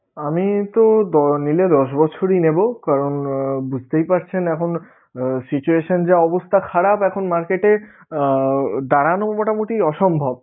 আমি তো দ~ নিলে দশ বছরেই নেবো কারণ বুঝতেই পারছেন এখন আহ situation যা অবস্থা খারাপ এখন market এ আহ দাঁড়ানো মোটামুটি অসম্ভব